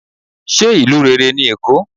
se ìlú rere ní Èko?